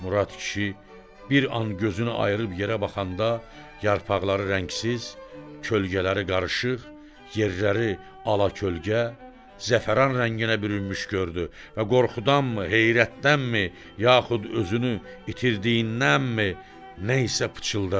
Murad kişi bir an gözünü ayırıb yerə baxanda yarpaqları rəngsiz, kölgələri qarışıq, yerləri ala-kölgə, zəfəran rənginə bürünmüş gördü və qorxudanmı, heyrətdənmi, yaxud özünü itirdiyindənmi nə isə pıçıldadı.